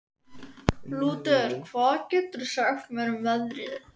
Lúter, hvað geturðu sagt mér um veðrið?